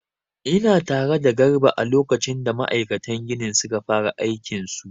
Ina tare da garba a lokacin da ma'aikatan ginin suka fara aikin su